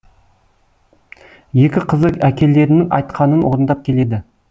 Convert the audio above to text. екі қызы әкелерінің айтқанын орындап келеді